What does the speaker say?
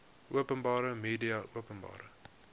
openbare media openbare